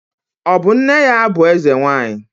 Ọ bụ nne ya bụ Eze nwaanyị?